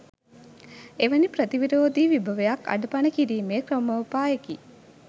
එවැනි ප්‍රතිවිරෝධී විභවයක් අඩපණ කිරීමේ ක්‍රමෝපායකි